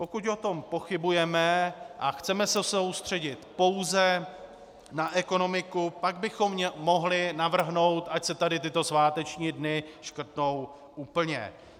Pokud o tom pochybujeme a chceme se soustředit pouze na ekonomiku, pak bychom mohli navrhnout, ať se tady tyto sváteční dny škrtnou úplně.